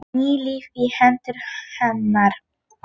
Ný lífi í hendur hennar.